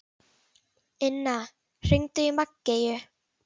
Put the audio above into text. Inna, hringdu í Maggeyju.